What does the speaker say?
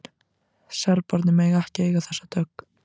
Serbarnir mega ekki eiga þessa dögg!